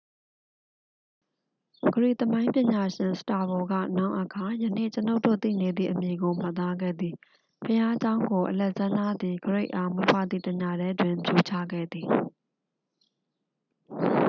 ဂရိသမိုင်းပညာရှင် စတာဘို က နောင်အခါ ယနေ့ကျွန်ုပ်တို့ သိနေသည့် အမည်ကို မှတ်သားခဲ့သည် ဘုရားကျောင်းကို အလက်ဇန္ဒားသည်ဂရိတ်အား မွေးဖွားသည့်တစ်ညတည်းတွင် ဖြိုချခဲ့သည်